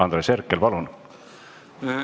Andres Herkel, palun!